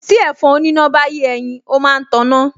Tí ẹ̀fọn oníná bá yé ẹyin, ó máa ń taná